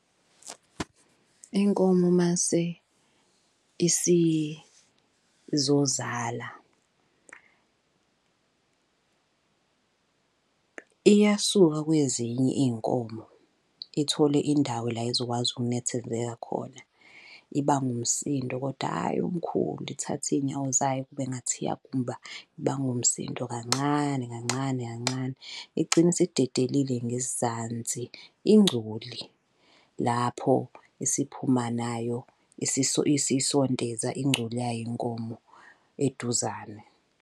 Inkomo uma isizozala. Iyasuka kwezinye iy'nkomo ithole indawo la ezokwazi ukunethezeka khona. Ibanga umsindo koda hhayi omkhulu, ithathe iy'nyawo zayo kube ngathi iyagumba ibanga umsindo kancane kancane kancane, igcine isidedele ngezansi ingcoli. Lapho isiphuma nayo isisondeza ingcoli yayo inkomo eduzane.